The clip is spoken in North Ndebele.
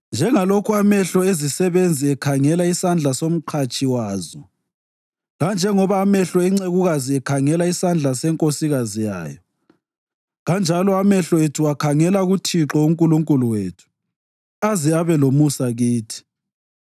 Njengalokhu amehlo ezisebenzi ekhangela isandla somqatshi wazo, lanjengoba amehlo encekukazi ekhangela isandla senkosikazi yayo, kanjalo amehlo ethu akhangela kuThixo uNkulunkulu wethu, aze abe lomusa kithi.